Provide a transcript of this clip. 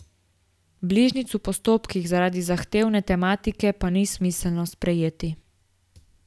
Bližnjic v postopkih zaradi zahtevne tematike pa ni smiselno sprejeti.